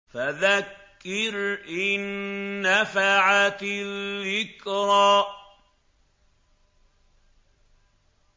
فَذَكِّرْ إِن نَّفَعَتِ الذِّكْرَىٰ